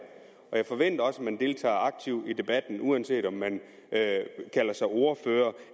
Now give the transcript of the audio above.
og jeg forventer også at man deltager aktivt i debatten uanset om man kalder sig ordfører